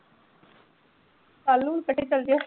ਚੱਲ ਜਾ